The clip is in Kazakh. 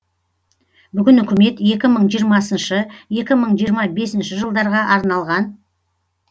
бүгін үкімет екі мың жиырмасыншы екі мың жиырма бесінші жылдарға арналған